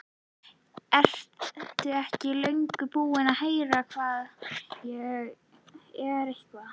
Ertu ekki löngu búinn að heyra hvað ég er eitthvað.